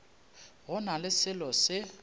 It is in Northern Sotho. go na le selo se